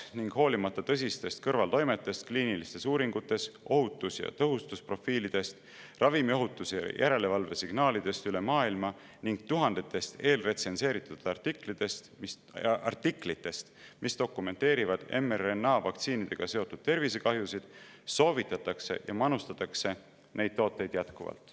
Ning hoolimata tõsistest kõrvaltoimetest kliinilistes uuringutes, ohutus- ja tõhustusprofiilidest, ravimiohutuse järelevalve signaalidest üle maailma ning tuhandetest eelretsenseeritud artiklitest, mis dokumenteerivad mRNA-vaktsiinidega seotud tervisekahjusid, soovitatakse ja manustatakse neid tooteid jätkuvalt.